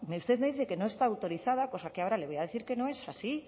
usted me dice que no está autorizada cosa que ahora le voy a decir que no es así